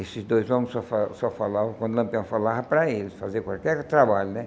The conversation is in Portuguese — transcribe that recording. Esses dois homens só fa só falavam quando Lampião falava para eles, fazer qualquer trabalho, né?